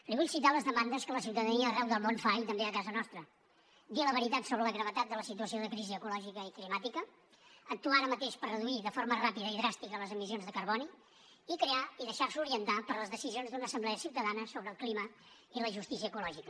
li vull citar les demandes que la ciutadania arreu del món fa i també a casa nostra dir la veritat sobre la gravetat de la situació de crisi ecològica i climàtica actuar ara mateix per reduir de forma ràpida i dràstica les emissions de carboni i crear i deixar se orientar per les decisions d’una assemblea ciutadana sobre el clima i la justícia ecològica